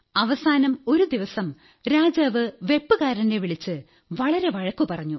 അവസാനം ഒരു ദിവസം രാജാവ് വയ്പ്പുകാരനെ വളിച്ച് വളരെ വഴക്കു പറഞ്ഞു